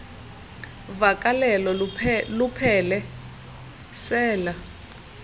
vakalelo luphele sela